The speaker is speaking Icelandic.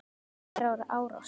Gera árás- stríða